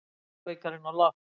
Íslandsbikarinn á lofti